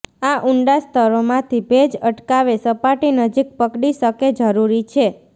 આ ઊંડા સ્તરો માંથી ભેજ અટકાવે સપાટી નજીક પકડી શકે જરૂરી છે